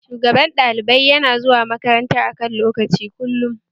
Shugaban ɗalibai yana zuwa makaranta a kan lokaci kullum